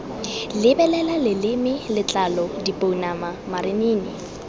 lebelela leleme letlalo dipounama marinini